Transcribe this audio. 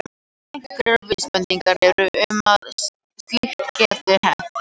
Einhverjar vísbendingar eru um að slíkt geti hent.